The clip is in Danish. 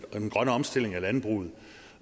den grønne omstilling af landbruget